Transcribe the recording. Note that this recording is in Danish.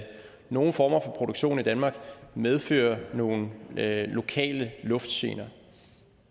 nogle former for produktion i danmark medfører nogle lokale luftgener